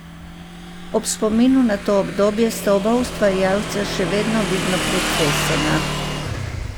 Ob spominu na to obdobje sta oba ustvarjalca še vedno vidno pretresena.